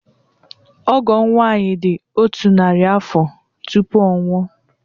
Ọgọ m nwaanyị dị otu narị afọ tupu ọ nwụọ.